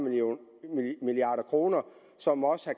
milliard kr som også